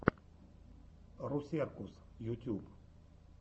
русеркус ютьюб